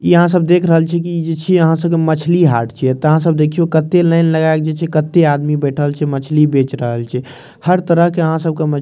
इहाँ सब देख रहल छे इ छे मछली हाट छे तहा सब देखियो कते लाइन लगाइल छे कते आदमी बइठल छे मछली बेच रहल छे हर तरह के यहाँ सब के मछली --